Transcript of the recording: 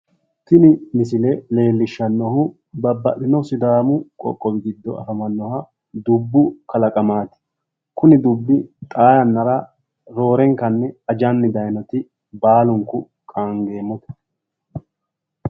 Tini misile leellishshannohu babbaxxino sidaamu qoqqowi giddo afamannoha dubbu kalaqamaati kuni dubbi xaa yannara roorenkanni ajanni daaynoti baalunku qaangeemmote.